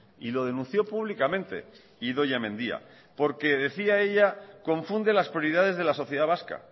y lo denunció públicamente idoia mendia porque decía ella confunde las prioridades de la sociedad vasca